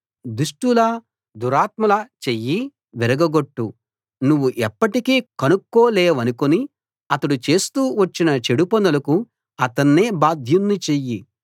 దుష్టల దురాత్ముల చెయ్యి విరగగొట్టు నువ్వు ఎప్పటికీ కనుక్కోలేవనుకుని అతడు చేస్తూ వచ్చిన చెడుపనులకు అతన్నే బాధ్యుణ్ణి చెయ్యి